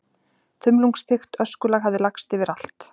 Þumlungsþykkt öskulag hafði lagst yfir allt.